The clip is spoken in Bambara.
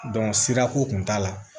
sirako kun t'a la